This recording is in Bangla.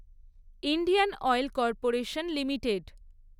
Indian oil corporation limited